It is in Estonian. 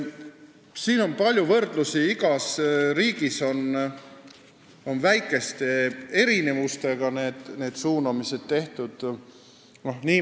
Siin on palju võrdlusi: igas riigis on väikeste erinevustega neid suunamisi tehtud.